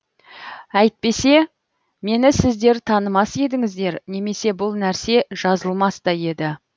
әйтпесе мені сіздер танымас едіңіздер немесе бұл нәрсе жазылмас та еді